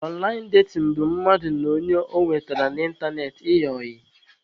Ọnlaịn datin bụ mmadụ na ọnye ọ nwetara n'ịntanetị ịyị ọyị